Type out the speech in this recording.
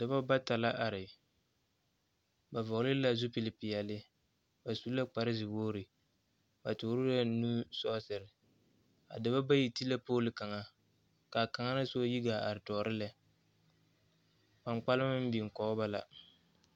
Dͻbͻ bata la are, ba vͻgele la zupili peԑle, ba su la kpare zewogiri, ba toore la nusͻͻsere. A dͻbͻ bayi te la pooli kaŋa ka kaŋa na soba yi gaa are tͻͻre lԑ. kpaŋkpalema meŋ biŋ kͻge ba la.